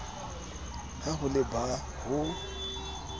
ha ho le ba mo